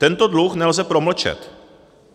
Tento dluh nelze promlčet.